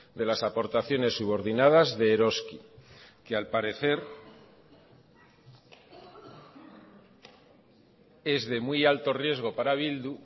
de las aportaciones subordinadas de eroski que al parecer es de muy alto riesgo para bildu